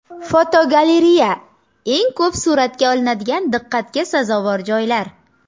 Fotogalereya: Eng ko‘p suratga olinadigan diqqatga sazovor joylar.